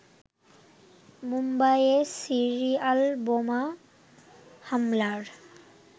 মুম্বাইয়ে সিরিয়াল বোমা হামলার